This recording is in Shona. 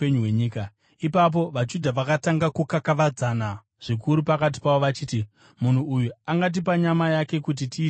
Ipapo vaJudha vakatanga kukakavadzana zvikuru pakati pavo vachiti, “Munhu uyu angatipa nyama yake kuti tiidye seiko?”